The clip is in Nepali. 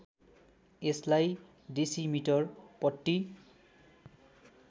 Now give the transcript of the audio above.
यसलाई डेसिमिटर पट्टी